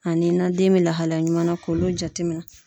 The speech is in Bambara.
Ani na den bɛ lahalaya ɲuman na k'olu jateminɛ.